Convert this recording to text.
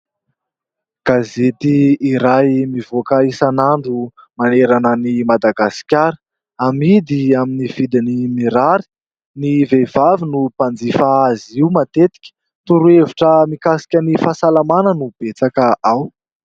Gazety iray mivoaka isan'andro manerana an'i Madagasikara, amidy amin'ny vidiny mirary. Ny vehivavy no mpanjifa azy io matetika. Torohevitra mikasika ny fahasalamana no betsaka ao.